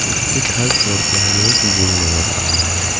उसके third floor पे हमें एक जिम नजर आ रहा है।